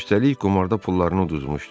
Üstəlik qumarda pullarını udmuşdu.